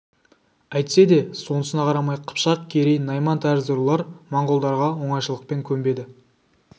әйтсе де сонысына қарамай қыпшақ керей найман тәрізді рулар монғолдарға оңайшылықпен көнбеді